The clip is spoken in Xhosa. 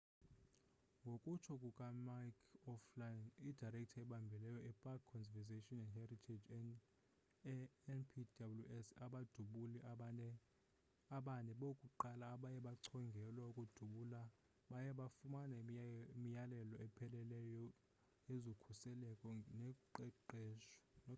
ngokutsho kukamick o'flynn idirector ebambeleyo epark conservation and heritage enpws abadubuli abane bokuqala abaye bachongelwa ukudubula baye bafumana imiyalelo epheleleyo yezokhuseleko noqeqesho